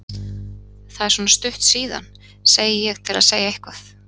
Það er svona stutt síðan, segi ég til að segja eitthvað.